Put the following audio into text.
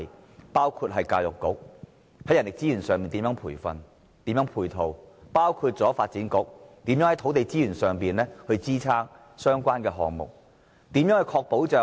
這包括教育局，在人力資源上作培訓和配套；也包括發展局，在土地資源上支撐相關的項目。